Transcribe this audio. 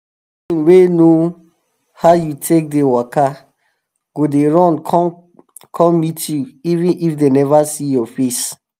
wey know how you take dey waka go dey run come come meet you even if dem neva see your face.